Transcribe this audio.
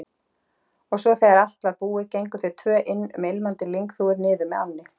Og svo þegar allt var búið gengu þau tvö um ilmandi lyngþúfur niður með ánni.